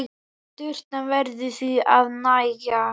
Sturtan verður því að nægja.